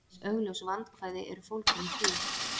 Ýmis augljós vandkvæði eru fólgin í því.